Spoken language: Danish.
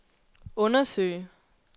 undersøge